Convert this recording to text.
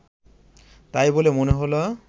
তাই বলে মনে হল